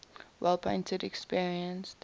wall painting experienced